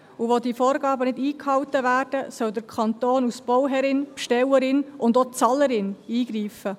Und wo diese Vorgaben nicht eingehalten werden, soll der Kanton als Bauherrin, Bestellerin und auch Bezahlerin eingreifen.